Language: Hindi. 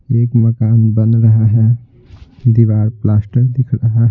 एक मकान बन रहा है दीवार प्लास्टर दिख रहा--